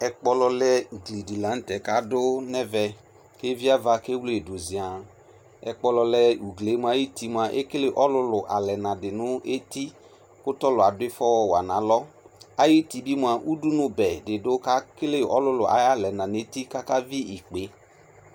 Ɛkpɔlɔlɛ ugkli de lantɛ kaso no ɛvɛ ko iviava ko ewle ye do zianƐkpɔlɔlɛ ugli moa ayuti moa ekele ɔlulu alɛna de no etu ko tɔlu ado ifɔ wa no alɔ Ayuti be moa udunubɛ de do ke kele alulu aya lɛna no eti kɔka vi ikpe